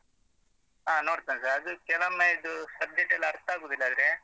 ಹಾ ನೋಡ್ತೇನೆ sir ಅದು channel ಸ ಇದು subject ಅರ್ಥ ಆಗುದಿಲ್ಲಾದ್ರೆ,